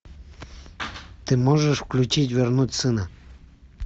ты можешь включить вернуть сына